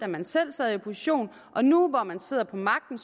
man selv sad i opposition og nu hvor man sidder på magten